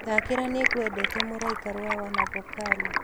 thakĩra nĩngwendete mũraĩka rwa wanavokali